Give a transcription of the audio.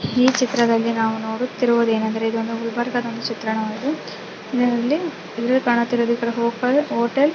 ಈ ಚಿತ್ರದಲ್ಲಿ ನಾವು ನೋಡುತ್ತಾ ಇರುವುದು ಏನೆಂದರೆ ಇದೊಂದು ಗುಲ್ಬರ್ಗದ ಒಂದು ಚಿತ್ರಣವಾಗಿದೆ ಇದರಲ್ಲಿ ಕಾಣುತಿರುವುದು ಒಂದು ಹೊಟೇಲ್ .